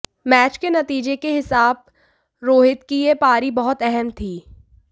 match के नतीजे के हिसाब रोहित की ये पारी बहुत अहम थी